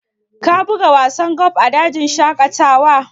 Ka buga wasan golf a dajin shaƙatawa?